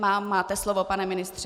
Máte slovo, pane ministře.